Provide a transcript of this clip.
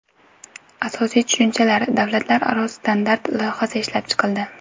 Asosiy tushunchalar” davlatlararo standart loyihasi ishlab chiqildi.